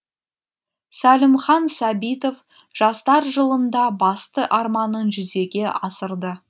сәлімхан сәбитов жастар жылында басты арманын жүзеге асырды